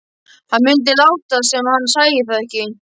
Hann mundi láta sem hann sæi það ekki.